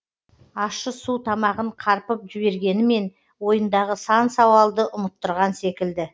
ащы су тамағын қарпып жібергенімен ойындағы сан сауалды ұмыттырған секілді